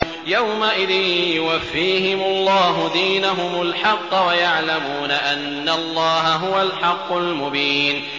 يَوْمَئِذٍ يُوَفِّيهِمُ اللَّهُ دِينَهُمُ الْحَقَّ وَيَعْلَمُونَ أَنَّ اللَّهَ هُوَ الْحَقُّ الْمُبِينُ